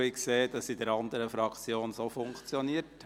Ich sehe, dass es auch bei den anderen Fraktionen wieder funktioniert.